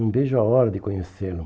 não vejo a hora de conhecê-lo.